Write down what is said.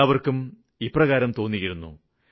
എല്ലാവര്ക്കും ഇപ്രകാരം തോന്നിയിരുന്നു